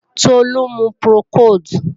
Tolú ń mu Procold